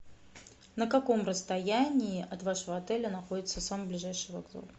на каком расстоянии от вашего отеля находится самый ближайший вокзал